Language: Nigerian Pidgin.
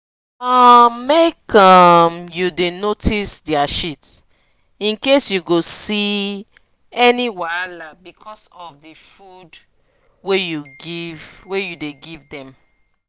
um make um u da notice their shit incase u go see any wahala because of the food wa u the give them